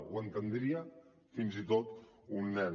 ho entendria fins i tot un nen